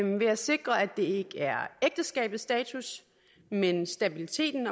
ved at sikre at det ikke er ægteskabets status men stabiliteten